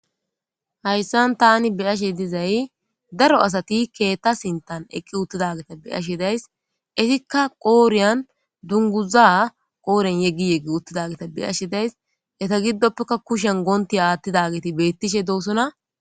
hayssan tani beyashe dizay daro asati keetta sintan eqqi uttidageta beyashe days isikka qooriyan dunguza qooren yeggi yeggi uttidageta beyashe days eta giddoppeka kushen goonti aathtidageti bettishe doosona